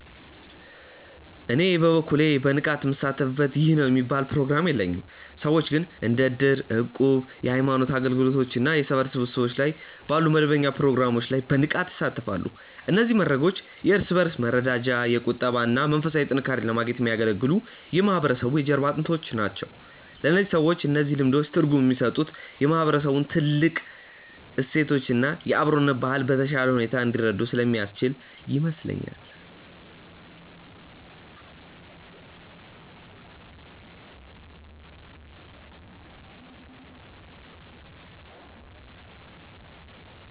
እኔ በበኩሌ በንቃት ምሳተፍበት ይህ ነው የሚባል ፕሮግራም የለኝም። ሰዎች ግን እንደ እድር፣ እቁብ፣ የሃይማኖት አገልግሎቶች እና የሰፈር ስብሰባዎች ባሉ መደበኛ ፕሮግራሞች ላይ በንቃት ይሳተፋሉ። እነዚህ መድረኮች የእርስ በእርስ መረዳጃ፣ የቁጠባ እና መንፈሳዊ ጥንካሬን ለማግኘት የሚያገለግሉ የማህበረሰቡ የጀርባ አጥንቶች ናቸው። ለእነዚህ ሰዎች እነዚህ ልምዶች ትርጉም የሚሰጡት የማህበረሰቡን ጥልቅ እሴቶች እና የአብሮነት ባህል በተሻለ ሁኔታ እንዲረዱ ስለሚያስችላቸው ይመስለኛል።